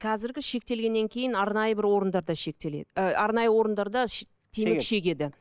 қазіргі шектелгеннен кейін арнайы бір орындарда шектеледі ы арнайы орындарда темекі шегеді